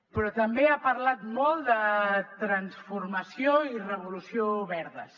però també ha parlat molt de transformació i revolució verdes